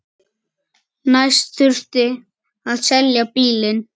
Næst þurfti að selja bílinn.